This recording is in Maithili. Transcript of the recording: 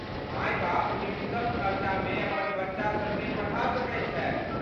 माय बाप न्यूनतम खर्चामे अपन बच्चा सबकेँ पढ़ा सकैत छथि।